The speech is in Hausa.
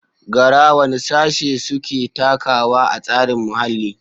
Gara: Wane Sashe Suke Takawa a Tsarin Muhalli?